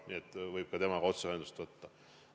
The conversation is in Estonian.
Nii et võib ka temaga otse ühendust võtta.